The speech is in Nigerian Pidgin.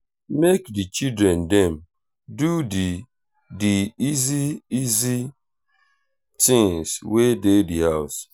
make di children dem do di di easy easy things wey dey di house